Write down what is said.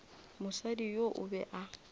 mosadi yoo o be a